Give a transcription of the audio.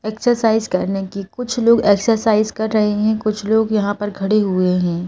Exercise करने की कुछ लोग एक्सरसाइज कर रहे हैं कुछ लोग यहां पर खड़े हुए हैं।